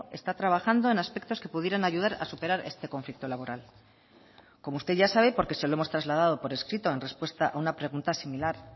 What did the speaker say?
está trabajando en aspectos que pudieran ayudar a superar este conflicto laboral como usted ya sabe porque se lo hemos trasladado por escrito en respuesta a una pregunta similar